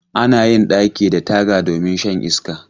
Ana yin ɗaki da taga domin shan iska.